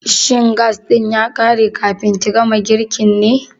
Shin gas ɗin girkin ya ƙare kafin ki gama girkin ne?